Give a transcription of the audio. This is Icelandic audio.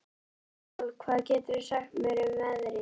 Adólf, hvað geturðu sagt mér um veðrið?